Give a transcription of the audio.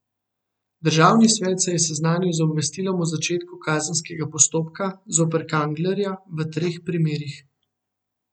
Državni svet se je seznanil z obvestilom o začetku kazenskega postopka zoper Kanglerja v treh primerih.